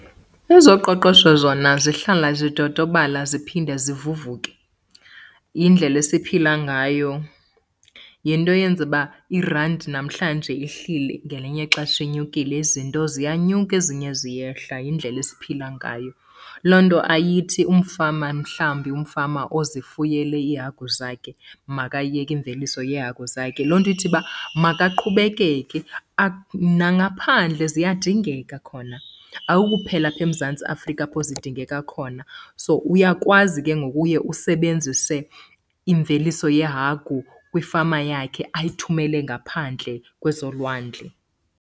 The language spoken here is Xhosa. Ezoqoqosho zona zihlala zidodobala ziphinde zivuvuke. Yindlela esiphila ngayo. Yinto eyenza uba irandi namhlanje ihlile ngelinye ixesha inyukile, izinto ziyanyuka ezinye ziyehla, yindlela esiphila ngayo. Loo nto ayithi umfama, mhlawumbi umfama ozifuyele iihagu zakhe makayeke imveliso yeehagu zakhe. Loo nto ithi uba makaqhubekeke , nangaphandle ziyadingeka khona, akukuphela apha eMzantsi Afrika apho zidingeka khona. So uyakwazi ke ngoku uye usebenzise imveliso yeehagu kwifama yakhe ayithumele ngaphandle kwezolwandle.